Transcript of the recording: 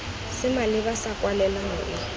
se maleba sa kwalelano e